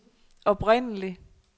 oprindelig